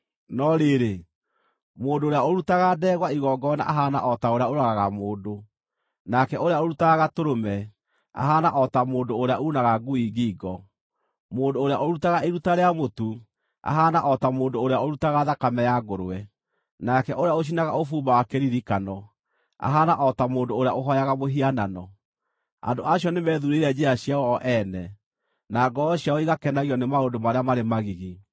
No rĩrĩ, mũndũ ũrĩa ũrutaga ndegwa igongona ahaana o ta ũrĩa ũragaga mũndũ, nake ũrĩa ũrutaga gatũrũme, ahaana o ta mũndũ ũrĩa uunaga ngui ngingo; mũndũ ũrĩa ũrutaga iruta rĩa mũtu, ahaana o ta mũndũ ũrĩa ũrutaga thakame ya ngũrwe, nake ũrĩa ũcinaga ũbumba wa kĩririkano, ahaana o ta mũndũ ũrĩa ũhooyaga mũhianano. Andũ acio nĩmethuurĩire njĩra ciao o ene, na ngoro ciao igakenagio nĩ maũndũ marĩa marĩ magigi;